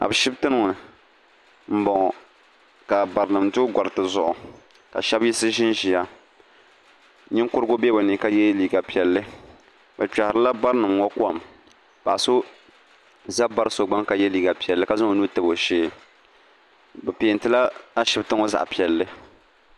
Ashibiti ni m-bɔŋɔ ka barinima do gariti zuɣu ka shɛba yiɣisi ʒinʒiya ninkurigu be bɛ ni ka ye liiga piɛlli bɛ kpɛhirila barinima ŋɔ kom paɣa so za bari so gbuni ka ye liiga piɛlli zaŋ o nuu tabi o shee bɛ peentila Ashibiti ŋɔ zaɣ'piɛlli.